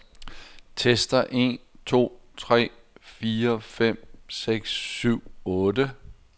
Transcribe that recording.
Tester en to tre fire fem seks syv otte.